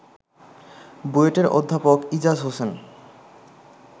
বুয়েটের অধ্যাপক ইজাজ হোসেন